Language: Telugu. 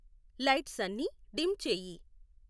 లైట్స్ అన్ని డిం చేయి